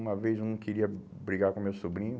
Uma vez eu não queria brigar com meu sobrinho.